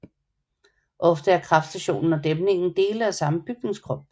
Ofte er kraftstationen og dæmningen dele af samme bygningskrop